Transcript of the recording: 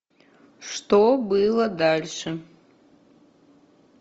что было дальше